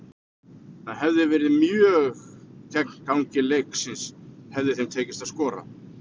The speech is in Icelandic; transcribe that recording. Það hefði verið mjög gegn gangi leiksins hefði þeim tekist að skora.